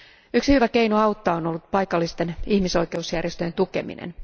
Yksi hyvä keino auttaa on ollut paikallisten ihmisoikeusjärjestöjen tukeminen.